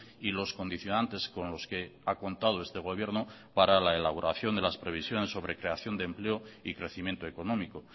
y los condicionantes con los que ha contado este gobierno para la elaboración de las previsiones sobre creación de empleo y crecimiento económico